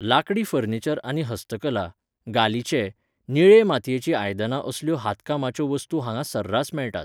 लाकडी फर्निचर आनी हस्तकला, गालिचे, निळे मातयेचीं आयदनां असल्यो हातकामाच्यो वस्तू हांगा सर्रास मेळटात.